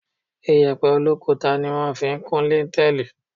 Iyẹ̀pẹ̀ olókuta ni wọ́n fi ń kún líńtẹẹ́lì.